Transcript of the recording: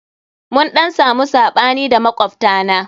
Mun ɗan samu saɓani da makwabta na.